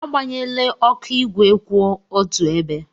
Agbanyela oku igwe igwe kwụ otu ebe!